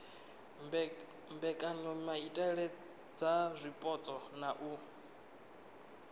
mbekanyamaitele dza zwipotso na u